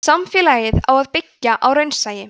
samfélagið á að byggja á raunsæi